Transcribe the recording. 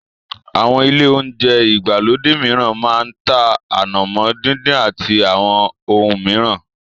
Àwọn ilé olounjẹ ìgbàlódé mìíràn máa ń tá ànàmọ́ díndín àti àwọn ohun mìíràn